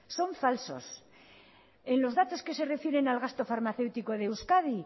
son falsos en los datos que se refieren al gasto farmacéutico de euskadi